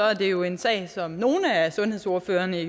er det jo en sag som nogle af sundhedsordførerne